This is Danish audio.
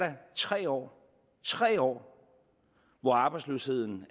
tre år tre år hvor arbejdsløsheden